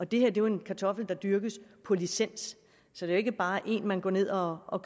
det her er jo en kartoffel der dyrkes på licens så det er ikke bare en man går ned og og